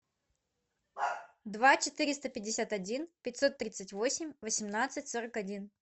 два четыреста пятьдесят один пятьсот тридцать восемь восемнадцать сорок один